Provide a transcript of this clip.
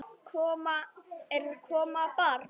Er að koma barn?